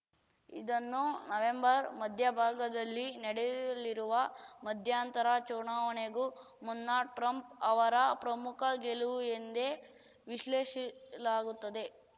ಇದನ್ನು ನವೆಂಬರ್‌ ಮಧ್ಯಭಾಗದಲ್ಲಿ ನಡೆಯಲಿರುವ ಮಧ್ಯಂತರ ಚುನಾವಣೆಗೂ ಮುನ್ನ ಟ್ರಂಪ್‌ ಅವರ ಪ್ರಮುಖ ಗೆಲುವು ಎಂದೇ ವಿಶ್ಲೇಷಿಲಾಗುತ್ತಿದೆ